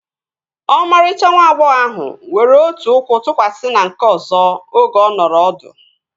Ọmarịcha nwa agbọghọ ahụ were otu ụkwụ tụkwasị na nke ọzọ oge ọ nọrọ ọdụ